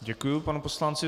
Děkuji panu poslanci.